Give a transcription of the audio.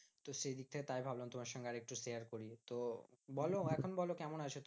তো সেই দিক থেকে তাই ভাবলাম তোমার সঙ্গে আর একটু share করবো। তো বলো এখন বলো কেমন আছো তুমি?